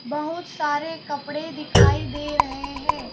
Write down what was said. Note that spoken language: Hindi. बहुत सारे कपड़े दिखाई दे रहे हैं।